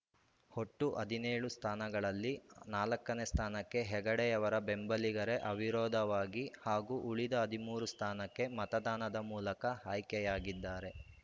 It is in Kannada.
ಒಟ್ಟು ಹದಿನೇಳು ಸ್ಥಾನಗಳಲ್ಲಿ ನಾಲ್ಕು ಸ್ಥಾನಕ್ಕೆ ಹೆಗಡೆಯವರ ಬೆಂಬಲಿಗರೇ ಅವಿರೋವಾಗಿ ಹಾಗೂ ಉಳಿದ ಹದಿಮೂರು ಸ್ಥಾನಕ್ಕೆ ಮತದಾನದ ಮೂಲಕ ಆಯ್ಕೆಯಾಗಿದ್ದಾರೆ